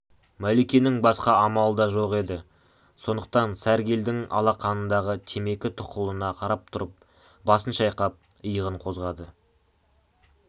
мәликенің басқа амалы да жоқ еді сондықтан сәргелдің алақанындағы темекі тұқылына қарап тұрып басын шайқап иығын қозғады